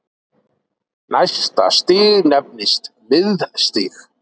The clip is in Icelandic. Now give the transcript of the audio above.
Næsta stig nefnist miðstig.